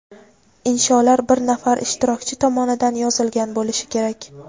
insholar bir nafar ishtirokchi tomonidan yozilgan bo‘lishi kerak.